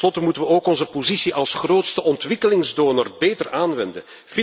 Ten slotte moeten wij ook onze positie als grootste ontwikkelingsdonor beter aanwenden.